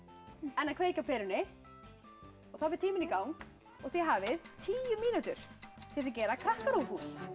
en að kveikja á perunni þá fer tíminn í gang og þið hafið tíu mínútur til þess að gera KrakkaRÚV hús